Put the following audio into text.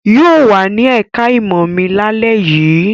Yóò wà ní ẹ̀ká ẹ̀kọ́ mi lálẹ́ yìí